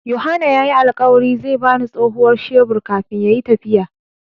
Yohana ya yi alkawari zai ba ni tsohuwar shebur kafin ya yi tafiya.